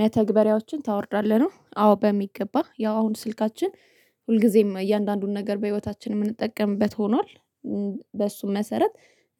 መተግበሪያዎችን ታወርዳለህ ነው? አዎ በሚገባ ያው አሁን ስልካችን ሁልጊዜም እያንዳንዱን ነገር በህይወታችን የምንጠቀምበት ሆኗል። በሱ መሰረት